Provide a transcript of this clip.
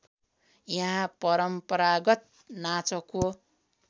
यहाँ परम्परागत नाचको